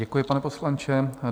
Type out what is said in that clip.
Děkuji, pane poslanče.